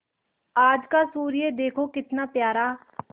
आज का सूर्य देखो कितना प्यारा